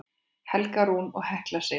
Helga Rún og Hekla Sif.